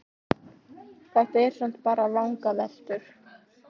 Þetta eru samt bara vangaveltur.